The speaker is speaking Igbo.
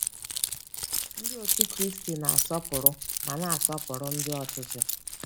Ndị Otú Kristi na-asọpụrụ ma na-asọpụrụ ndị ọchịchị.